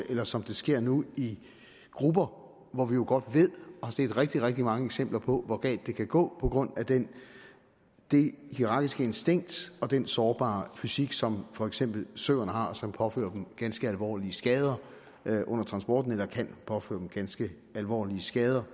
eller som det sker nu i grupper hvor vi jo godt ved og har set rigtig rigtig mange eksempler på hvor galt det kan gå på grund af det det hierakiske instinkt og den sårbare fysik som for eksempel søerne har som påfører dem ganske alvorlige skader under transporten eller kan påføre dem ganske alvorlige skader